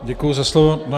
Děkuji za slovo.